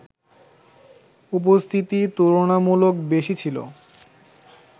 উপস্থিতি তুলনামূলক বেশি ছিল